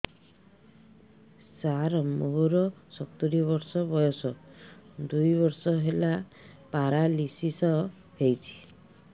ସାର ମୋର ସତୂରୀ ବର୍ଷ ବୟସ ଦୁଇ ବର୍ଷ ହେଲା ପେରାଲିଶିଶ ହେଇଚି